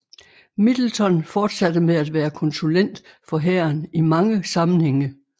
Middleton fortsatte med at være konsulent for hæren i mange sammenhænge